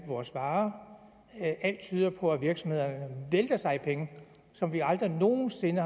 vores varer alt tyder på at virksomhederne vælter sig i penge som det aldrig nogen sinde